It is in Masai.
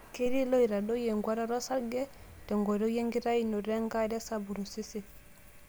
Ketii loitadoyio enkuatata osarge tenkoitoi enkitainoto enkare sapuk tosesen.